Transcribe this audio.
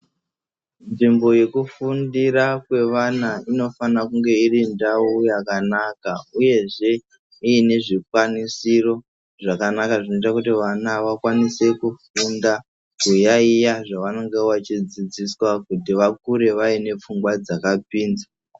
Nzvimbo yekufundira kwevana inofana kunge irindau yakanaka uyezve iine zvikwanisiro zvakanaka zvinoita kuti vana vakwanise kuyaiya zvavanenge vachidzidziswa kuti vakure vaine pfungwa dzakapinza.